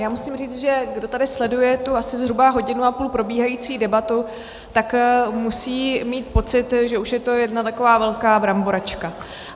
Já musím říct, že kdo tady sleduje tu asi zhruba hodinu a půl probíhající debatu, tak musí mít pocit, že už je to jedna taková velká bramboračka.